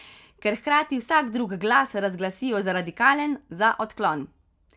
Ker hkrati vsak drug glas razglasijo za radikalen, za odklon.